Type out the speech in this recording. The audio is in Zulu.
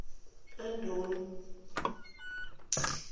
adoni